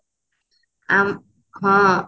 ଆଉ ହଁ